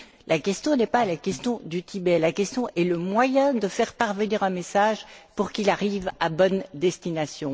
La question n'est pas la question du Tibet, la question est celle du moyen de faire parvenir un message pour qu'il arrive à bonne destination.